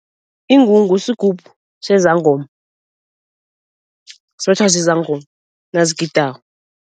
Ingungu sigubhu sezangoma, sibetjhwa zizangoma nazigidako.